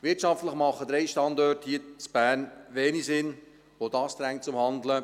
Wirtschaftlich machen drei Standorte hier in Bern wenig Sinn, auch dies drängt zum Handeln.